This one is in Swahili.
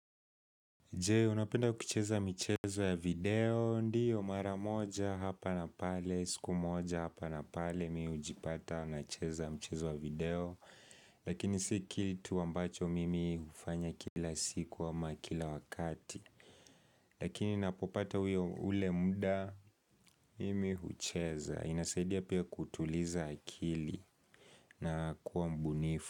Je, unapenda kucheza michezo ya video, ndiyo mara moja hapa na pale, siku moja hapa na pale mihujipata na cheza mchezo ya video Lakini si kitu ambacho mimi hufanya kila siku ama kila wakati Lakini napopata uyo ule muda, mimi hucheza, inasaidia pia kutuliza akili na kuwa mbunifu.